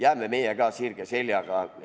Oleme meie ka sirge seljaga!